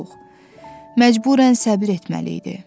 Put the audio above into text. məcburən səbr etməli idi.